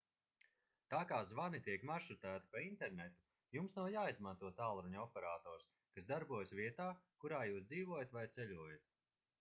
tā kā zvani tiek maršrutēti pa internetu jums nav jāizmanto tālruņa operators kas darbojas vietā kurā jūs dzīvojat vai ceļojat